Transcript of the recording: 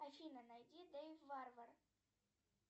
афина найди дейв варвар